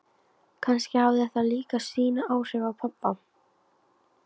Kannski hafði það líka sín áhrif á pabba.